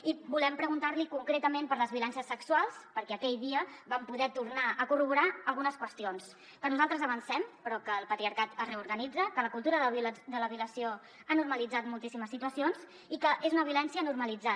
i volem preguntar li concretament per les violències sexuals perquè aquell dia vam poder tornar a corroborar algunes qüestions que nosaltres avancem però que el patriarcat es reorganitza que la cultura de la violació ha normalitzat moltíssimes situacions i que és una violència normalitzada